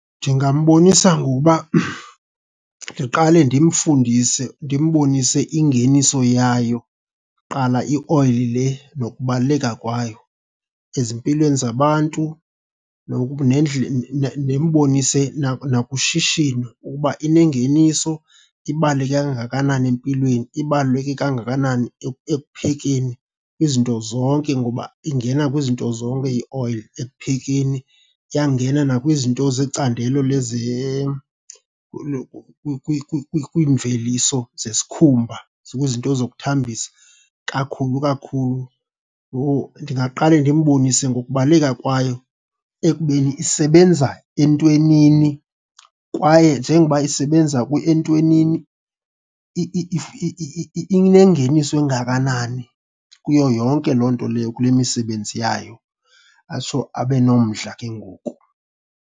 Ndingambonisa ngokuba ndiqale ndimfundise, ndimbonise ingeniso yayo kuqala ioyile le nokubaluleka kwayo ezimpilweni zabantu. Ndimbonise nakushishino ukuba inengeniso, ibaluleke kangakanani empilweni, ibaluleke kangakanani ekuphekeni izinto zonke ngoba ingena kwizinto zonke ioyile ekuphekeni. Iyangena nakwizinto zecandelo kwiimveliso zesikhumba, kwizinto zokuthambisa, kakhulu kakhulu. Yho, ndingaqale ndimbonise ngokubaluleka kwayo ekubeni isebenza entwenini kwaye njengoba isebenza entwenini inengeniso engakanani kuyo yonke loo nto leyo kule misebenzi yayo. Atsho abe nomdla ke ngoku.